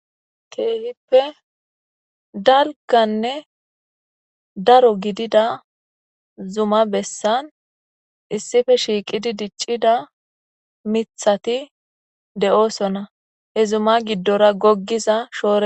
Kehippe dalggane daaro giddida zuuma bessan issippe shiiqidi diccida miththati de'osona he zuuma giiddora googiza shoore ha....